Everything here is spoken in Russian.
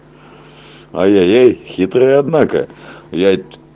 ай-ай-ай хитрые однако я